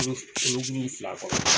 fila kɔnɔ.